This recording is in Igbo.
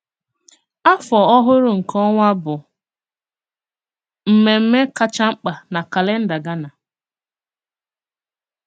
Àfọ Ọhụrụ nke Ọ̀nwa bụ émémmè kacha mk̀pà na kálèndà Ghánà.